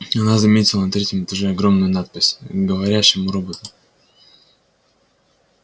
она заметила на третьем этаже огромную надпись к говорящему роботу